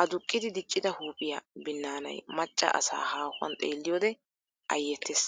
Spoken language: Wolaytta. Aduqqidi diccida huuphiyaa binnaanay maccaa asaa haahuwan xeelliyoode ayyettees.